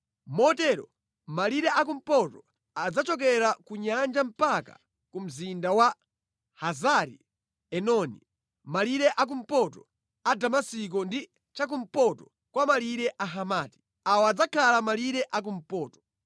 Motero malire akumpoto adzachokera ku nyanja mpaka ku mzinda wa Hazari-Enoni, mʼmalire akumpoto a Damasiko ndi chakumpoto kwa malire a Hamati. Awa adzakhala malire a kumpoto.